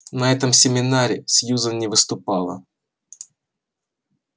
на этом семинаре сьюзен не выступала